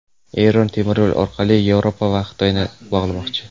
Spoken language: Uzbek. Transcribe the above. Eron temiryo‘l orqali Yevropa va Xitoyni bog‘lamoqchi.